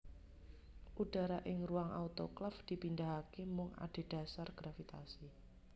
Udara ing ruang autoklaf dipindahake mung adhedhasar gravitasi